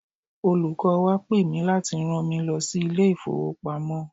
Olùkọ́ wa pe mì láti rán mi lọ sí ilé ìfowopamọ́.